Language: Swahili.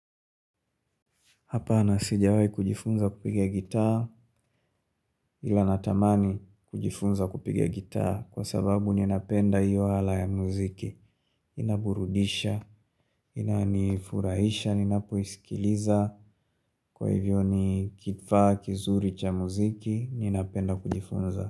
Hapana, sijawahi kujifunza kupigia gitaa ila natamani kujifunza kupigia gitaa kwa sababu ninapenda hiyo ala ya muziki. Inaburudisha, inanifurahisha, ninapoisikiliza kwa hivyo ni kifaa kizuri cha muziki ninapenda kujifunza.